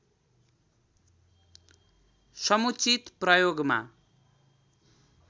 समुचित प्रयोगमा